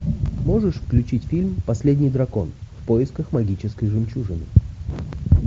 можешь включить фильм последний дракон в поисках магической жемчужины